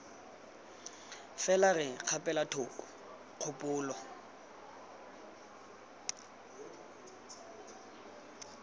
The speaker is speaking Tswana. fela re kgapela thoko kgopolo